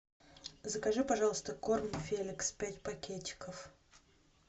закажи пожалуйста корм феликс пять пакетиков